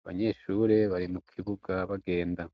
abanyeshure bari mu kibuga bagenda.